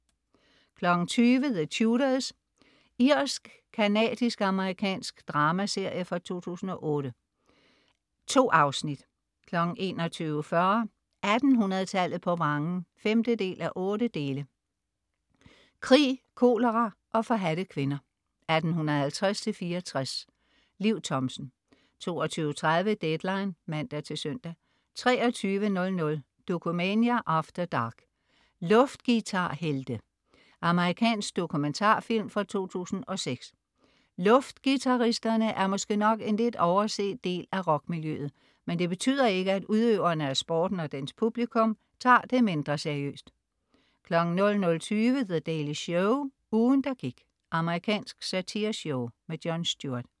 20.00 The Tudors. Irsk-canadisk-amerikansk dramaserie fra 2008. 2 afsnit 21.40 1800 tallet på vrangen 5:8. Krig, kolera og forhadte kvinder, 1850-1864. Liv Thomsen 22.30 Deadline (man-søn) 23.00 Dokumania After Dark: Luftguitarhelte. Amerikansk dokumentarfilm fra 2006. Luftguitaristerne er måske nok en lidt overset del af rockmiljøet, men det betyder ikke, at udøverne af sporten og dens publikum tager det mindre seriøst 00.20 The Daily Show. Ugen, der gik. Amerikansk satireshow. Jon Stewart